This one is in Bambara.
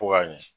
Fo ka ɲɛ